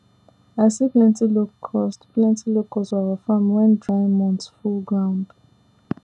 i see plenty locust plenty locust for our farm when dry months full ground